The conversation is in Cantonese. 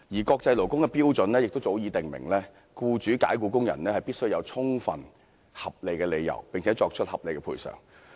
國際勞工的標準亦早已訂明，僱主解僱工人必須有充分合理的理由，並作出合理的賠償。